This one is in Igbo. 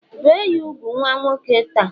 Bee ya úgwù nwa nwoke ta!